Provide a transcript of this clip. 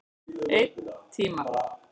Einn tíma.